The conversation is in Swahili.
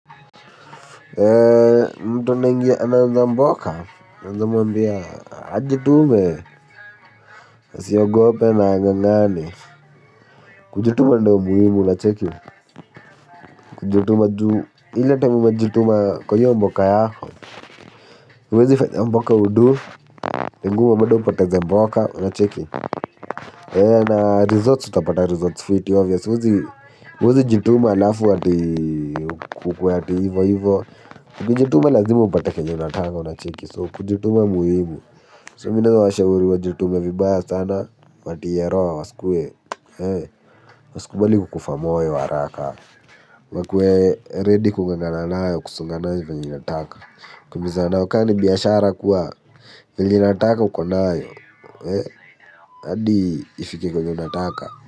Mtu anaingia mboka naeza mwambia ajitume, asiogope na angangane kujituma ndo muhimu unacheki, kujituma juu ila time umejituma kwa hiyo mboka yako huwezi fanya mboka ya udu na bado upate za mboka unacheki na results utapata results fiti huezjituma alafu ati ukuwe ati hivo hivo. Kujituma lazimu upate kenye unataka unacheki so kujituma muhimu so mimi naeza washauri wajitume vibaya sana watie roho wasikuwe. Wasikubali kukufa moyo haraka wakue ready kungangana nayo kusonga nayo venye inataka kukimbizana nayo kama ni biashara kuwa yenye inataka uko nayo hadi ifike kwenye unataka.